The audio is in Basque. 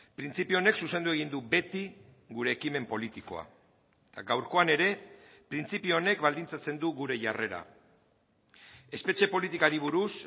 printzipio honek zuzendu egin du beti gure ekimen politikoa eta gaurkoan ere printzipio honek baldintzatzen du gure jarrera espetxe politikari buruz